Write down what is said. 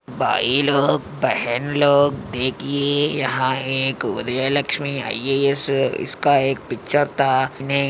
भाई लोग बहन लोग देखिये यहाँ एक उदयलक्ष्मी आय.ए.एस. इसका एक पिक्चर था ने--